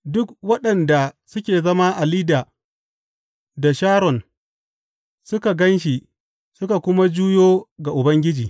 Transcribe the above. Duk waɗanda suke zama a Lidda da Sharon suka gan shi suka kuma juyo ga Ubangiji.